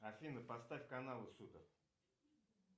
афина поставь каналы супер